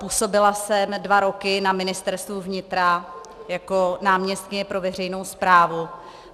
Působila jsem dva roky na Ministerstvu vnitra jako náměstkyně pro veřejnou správu.